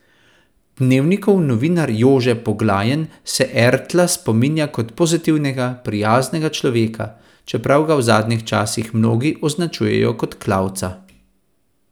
Dnevnikov novinar Jože Poglajen se Ertla spominja kot pozitivnega, prijaznega človeka, čeprav ga v zadnjih časih mnogi označujejo kot klavca.